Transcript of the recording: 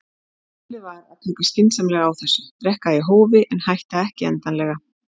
Málið var að taka skynsamlega á þessu, drekka í hófi en hætta ekki endanlega.